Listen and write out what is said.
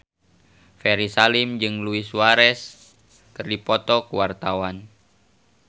Ferry Salim jeung Luis Suarez keur dipoto ku wartawan